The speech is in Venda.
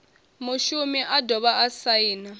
mushumi a dovha a saina